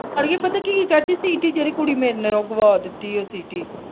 ਅੜੀਏ ਪਤਾ ਕਿ ਚਾਚੀ ਸੀਟੀ ਕੁੜੀ ਮੇਰੀ ਨੇ ਗੁਆ ਦਿਤੀ ਹੈ ਸੀਟੀ।